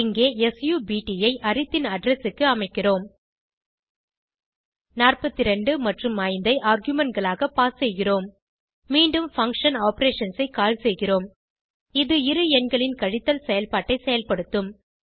இங்கே சப்ட் ஐ அரித் ன் அட்ரெஸ் க்கு அமைக்கிறோம் 42 மற்றும் 5 ஐ argumentகளாக பாஸ் செய்கிறோம் மீண்டும் பங்ஷன் ஆப்பரேஷன்ஸ் ஐ கால் செய்கிறோம் இது இரு எண்களின் கழித்தலை செயல்பாட்டை செயல்படுத்தும்